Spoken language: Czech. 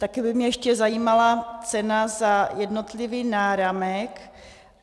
Také by mě ještě zajímala cena za jednotlivý náramek.